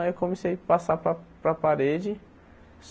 Aí eu comecei a passar para a para a parede.